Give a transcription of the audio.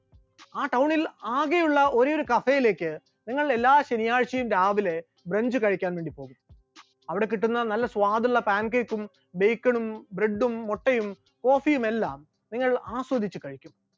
ആ town ൽ ആകെയുള്ള ഒരേയൊരു cafe യിലേക്ക് നിങ്ങൾ എല്ലാ ശനിയാഴ്ചയും രാവിലെ french കഴിക്കാൻ വേണ്ടി പോകുന്നു, അവിടെ കിട്ടുന്ന നല്ല സ്വാദുള്ള pan cake ഉം bacon ഉം bread ഉം മുട്ടയും coffee യുമെല്ലാം നിങ്ങൾ ആസ്വദിച്ചു കഴിക്കുന്നു.